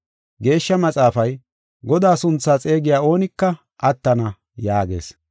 Geeshsha Maxaafay, “Godaa sunthaa xeegiya oonika attana” yaagees.